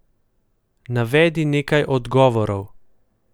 Navedi nekaj odgovorov.